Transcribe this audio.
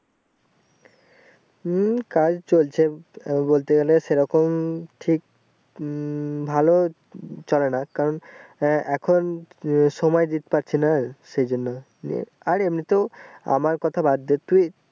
হম কাজ চলছে বলতে গেলে সে রকম ঠিক উম ভালো চলে না কারণ এ এখন সময় দিত পারছিনা সেই জন্য নিয়ে আর এমনিইতো আমার কথা বাদ দে তুই ।